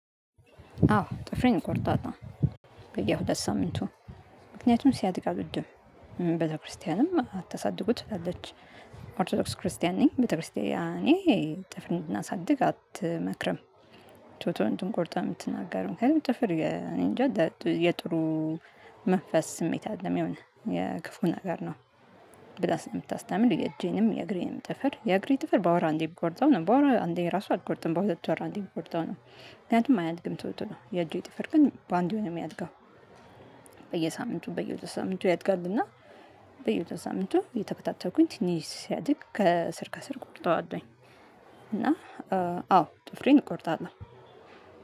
አዎ ጥፍሬን እቆርጣለሁ። በየሁለት ሳምንቱ፤ ምክንያቱም ሲያድጋ አልወድም። ቤተክርስቲያንም አትሳድጉ ትላለች። ኦርቶዶክስ ክርስቲያን ነኝ። ቤተክርስቲያን እኔ ጥፍር እንድናሳድግ አትመክርም። ቶሎቶሎ እንድንቆርጥ ነው የምትናገረው። ግን ጥፍር እኔ እንጃ የጥሩ መንፈስ ስሜት አይደለም። የሆነ የክፉ ነገር ነው ብላ ስለምታስታምር የእጄንም የእግሬንም ጥፍር የእግሬ ጥፍር በወር አንዴ ብቆርጠው ነው፤ በወር አንዴ ራሱ አልቆርጥም በሁለት ወር አንዴ ብቆርጠው ነው። ምክንያቱም አያድግም ቶሎ ቶሎ። የእጅ ጥፍር ግን በአንዴ ነው የሚያድገው። በየሳምንቱ በየሁለት ሳምንቱ ያድጋልና በየሁለት ሳምንቱ እየተከታተልኩኝ ትንሽ ሲያድግ ከስር ከስር እቆርጠዋለሁኝ። እና አዎ ጥፍሬን እቆርጣለሁ።